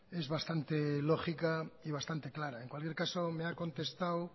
es bastante lógica y bastante clara en cualquier caso me ha contestado